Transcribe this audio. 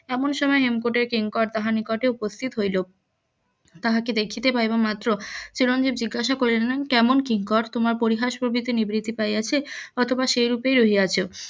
এমন সময় হেমকূটে কিংকর তাহার নিকটে উপস্থিত হইল তাহাকে দেখিতে পাইবা মাত্র চিরঞ্জিব জিজ্ঞাসা করিলেন কেমন কিংকর তোমার পরিহাস প্রভিতি নিবৃত্তি পাইয়াছে অথবা সেই রূপেই রহিয়াছ